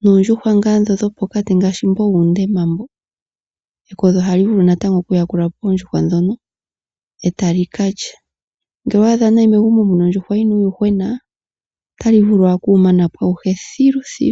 Noondjuhwa ngaa dho dhopokati ngaashi mbo wuundema mbo. Ekodhi ohali vulu natango okuyakulapo oondjuhwa dhono etali kalya ngele owaadha nee megumbo muna uuyuhwena, otali vulu owala okuwumanapo awuhe thilithilu.